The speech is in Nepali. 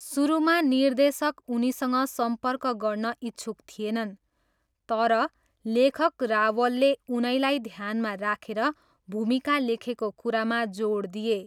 सुरुमा निर्देशक उनीसँग सम्पर्क गर्न इच्छुक थिएनन्, तर, लेखक रावलले उनैलाई ध्यानमा राखेर भूमिका लेखेको कुरामा जोड दिए।